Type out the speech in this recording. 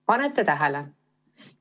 " Panete tähele?